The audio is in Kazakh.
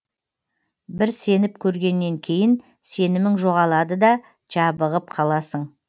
бір сеніп көргеннен кейін сенімің жоғалады да жабығып қаласың